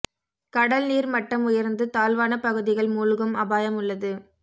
கடல் நீர் மட்டம் உயர்ந்து தாழ்வான பகுதிகள் மூழ்கும் அபாயம் உள்ளது